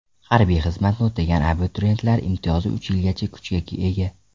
Harbiy xizmatni o‘tagan abituriyentlar imtiyozi uch yilgacha kuchga ega.